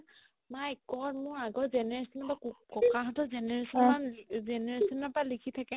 my god মোৰ আগৰ generation তো ককা হতৰ generation generation পাই লিখি থাকে